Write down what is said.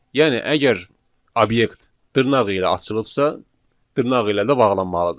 Yəni əgər obyekt dırnaq ilə açılıbsa, dırnaq ilə də bağlanmalıdır.